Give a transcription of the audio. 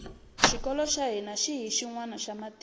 xikolo xa hina hi xinwana xa matimu